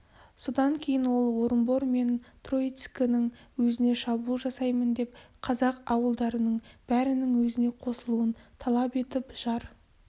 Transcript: содан кейін ол орынбор мен троицкінің өзіне шабуыл жасаймын деп қазақ ауылдарының бәрінің өзіне қосылуын талап етіп жар